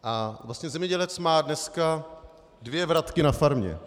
A vlastně zemědělec dneska má dvě vratky na farmě.